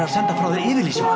að senda frá þér yfirlýsingu